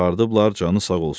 Çıxardıblar, canı sağ olsun.